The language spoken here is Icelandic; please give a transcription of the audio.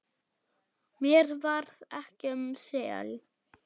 Mér varð ekki um sel.